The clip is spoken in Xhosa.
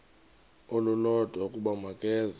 olulodwa ukuba makeze